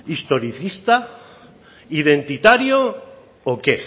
historicista identitario o qué